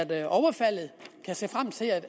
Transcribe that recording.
været overfaldet må se frem til at